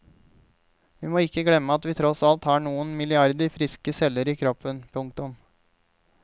Vi må ikke glemme at vi tross alt har noen milliarder friske celler i kroppen. punktum